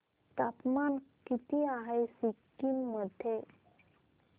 तापमान किती आहे सिक्किम मध्ये